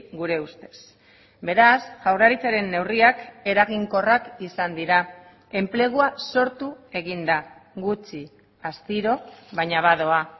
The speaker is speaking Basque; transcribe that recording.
gure ustez beraz jaurlaritzaren neurriak eraginkorrak izan dira enplegua sortu egin da gutxi astiro baina badoa